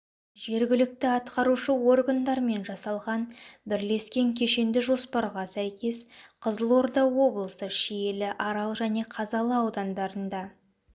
жергілікті атқарушы органдармен жасалған бірлескен кешенді жоспарға сәйкес қызылорда облысы шиелі арал және қазалы аудандарында